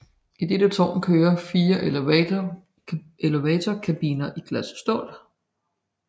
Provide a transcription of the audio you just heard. I dette tårn kører fire elevatorkabiner i glas og stål